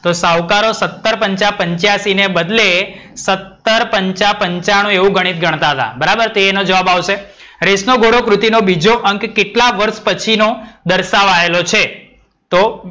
તો સાવકારો સત્તર પંચા પંચાસી ને બદલે સત્તર પંચા પંચાણુ એવું ગણિત ગણતાં હતા બરાબર. એ ઇનો જવાબ આવશે. રેસ નો ઘોડો કૃતિનો બીજો અંક કેટલા વર્ષ પછીનો દર્શાવાયલો છે? તો,